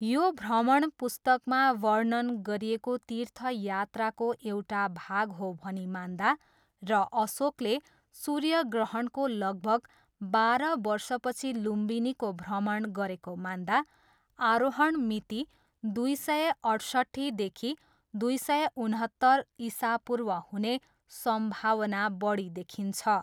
यो भ्रमण पुस्तकमा वर्णन गरिएको तीर्थयात्राको एउटा भाग हो भनी मान्दा र अशोकले सूर्यग्रहणको लगभग बाह्र वर्षपछि लुम्बिनीको भ्रमण गरेको मान्दा, आरोहण मिति दुई सय अठसट्ठीदेखि दुई सय उनहत्तर इसापूर्व हुने सम्भावना बढी देखिन्छ।